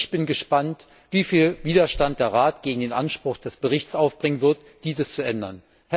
Ich bin gespannt, wie viel Widerstand der Rat gegen den Anspruch des Berichts aufbringen wird, dies zu ändern.